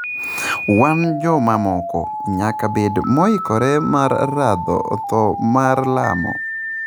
"Wan jomamoko nyaka bed moikre mar radho tho mar lamo."""